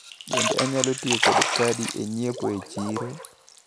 Bende anyalo tiyo kod kadi e nyiepo e chiro?